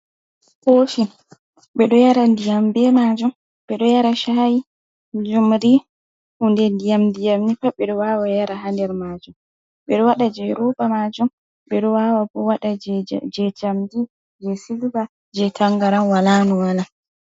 Kopi ɓe ɗo yara ndiyam be majum ɓe ɗo yara shayi, jumri, hunde ndiyam ndiyam ni pat ɓe ɗo wawa yara ha nder majum, ɓe ɗo waɗa je ruba majum, ɓe ɗo wawa bo waɗa je jamdi, je silba, je tangaran, wala nou wala.